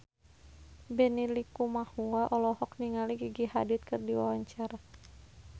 Benny Likumahua olohok ningali Gigi Hadid keur diwawancara